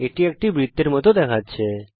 এটি একটি বৃত্তের মত দেখাচ্ছে